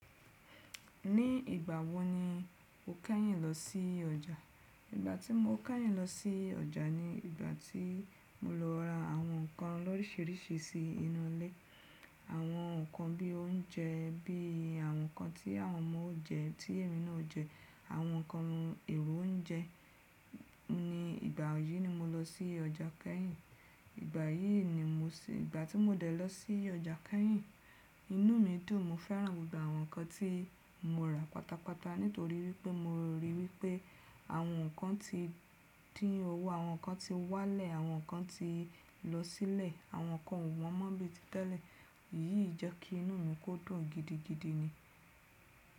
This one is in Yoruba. Ní ìgbà wo ni o kẹ́yìn lọ sí ọjà? Ìgbà tí mo kẹ́yìn lọ sí ọjà ni ìgbà tí mo lọ ra àwọn nǹkan lọ́rịṣiríṣi sí inú ilé. Àwọn nǹkan bí oúnjẹ, bí àwọn nǹkan tí àwọn ọmọ ó jẹ, tí èmi náà ó jẹ, àwọn nǹkan èrò oúnjẹ. Ni ìgbà yìí ni mo lọ sí ọjà kẹ́yìn. Ìgbà yìí ni mo sí-- ìgbà tí mo dẹ̀ lọ sí ọjà kẹ́yìn, inú mi dùn. Mo fẹ́ràn gbogbo àwọn nǹkan tí mo rà pátápátá nítorí wípé mo ríi wípé àwọn nǹkan ti dín owó, àwọn nǹkan ti wá lẹ̀, àwọn nǹkan ti lọ sílẹ̀, àwọn nǹkan wọ́n mọ́ bíi títẹ́lẹ̀. Èyí jẹ́ kí inú mi kó dùn gidigidi ni.